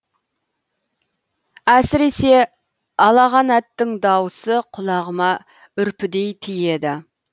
әсіресе алағанаттың даусы құлағыма үрпідей тиеді